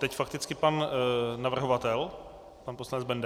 Teď fakticky pan navrhovatel, pan poslanec Benda.